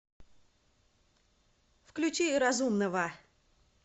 включи разумного